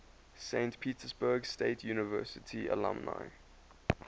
saint petersburg state university alumni